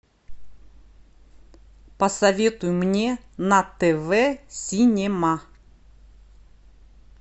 посоветуй мне на тв синема